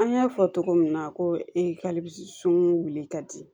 An y'a fɔ cogo min na ko e ka sunuŋu wuli ka di